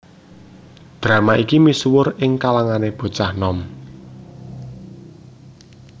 Drama iki misuwur ing kalangané bocah nom